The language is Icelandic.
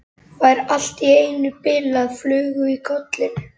Fær allt í einu bilaða flugu í kollinn.